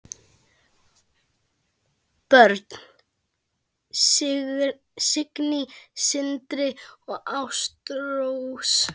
Börn: Signý, Sindri og Ástrós.